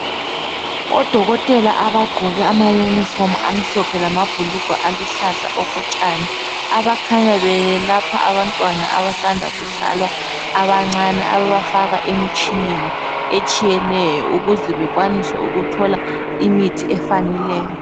Odokotela abagqoke ama uniform amhlophe lamabhulugwe aluhlaza okotshani abakhanya beyelapha abantwana abasanda kuzalwa abancane ababafaka emitshineni etshiyeneyo ukuze bekwanise ukuthola imithi efaneleyo.